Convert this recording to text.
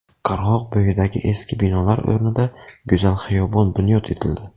Qirg‘oq bo‘yidagi eski binolar o‘rnida go‘zal xiyobon bunyod etildi.